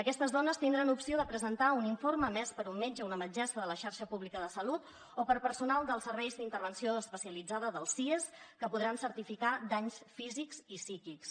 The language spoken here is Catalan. aquestes dones tindran opció de presentar un informe emès per un metge o una metgessa de la xarxa pública de salut o per personal dels serveis d’intervenció especialitzada dels sies que podran certificar danys físics i psíquics